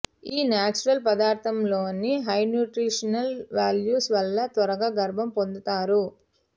ఈ నేచురల్ పదార్థంలోని high nutritional values వల్ల త్వరగా గర్బం పొందుతారు